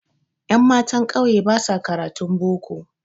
Ƴammatan ƙauye basa karatun boko